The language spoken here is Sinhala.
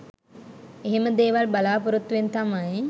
එහෙම දේවල් බලාපොරොත්තුවෙන් තමයි